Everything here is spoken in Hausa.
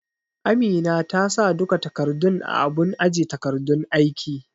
Amina ta sa duka takardun a abun aje takardun aiki